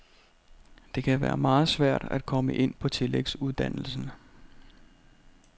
Det kan være meget svært at komme ind på tillægsuddannelsen.